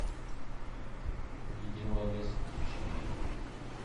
ледяной лес включи мне